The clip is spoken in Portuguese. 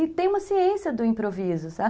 E tem uma ciência do improviso, sabe?